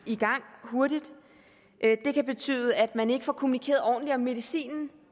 i gang hurtigt det kan betyde at man ikke får kommunikeret ordentligt om medicinen